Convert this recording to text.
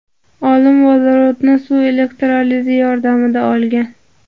Olim vodorodni suv elektrolizi yordamida olgan.